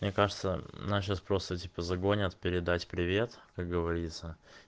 мне кажется наши спросы типа загонят передать привет как говорится